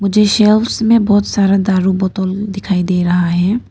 मुझे सेल्स में बहुत सारा दारू बोतल दिखाई दे रहा है।